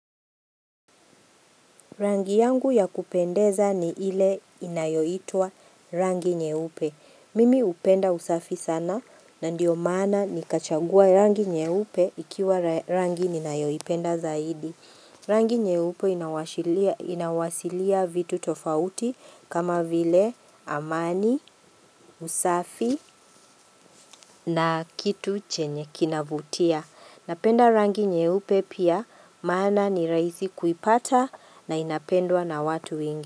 Rangi yangu ya kupendeza ni ile inayoitwa rangi nyeupe. Mimi hupenda usafi sana na ndio maana nikachagua rangi nyeupe ikiwa rangi ninayoipenda zaidi. Rangi nyeupe inawashiria vitu tofauti kama vile amani, usafi na kitu chenye kinavutia. Napenda rangi nyeupe pia maana ni rahisi kuipata na inapendwa na watu wengi.